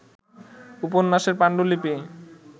উপন্যাসের পাণ্ডুলিপি